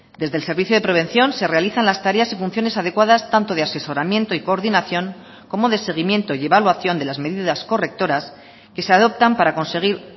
desde el servicio de prevención se realizan las tareas y funciones adecuadas tanto de asesoramiento y coordinación como de seguimiento y evaluación de las medidas correctoras que se adoptan para conseguir